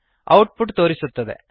out ಪುಟ್ ತೋರಿಸುತ್ತದೆ